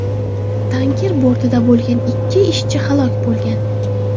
Tanker bortida bo‘lgan ikki ishchi halok bo‘lgan.